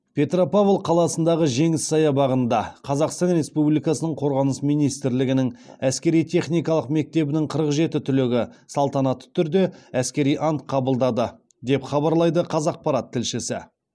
петропавл қаласындағы жеңіс саябағында қазақстан республикасының қорғаныс министрлігінің әскери техникалық мектебінің қырық жеті түлегі салтанатты түрде әскери ант қабылдады деп хабарлайды қазақпарат тілшісі